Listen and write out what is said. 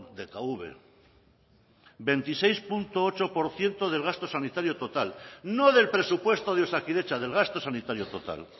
dkv veintiseis coma ocho por ciento del gasto sanitario total no del presupuesto de osakidetza del gasto sanitario total